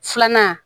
Filanan